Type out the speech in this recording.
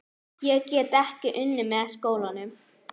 Ég get þá unnið með skólanum.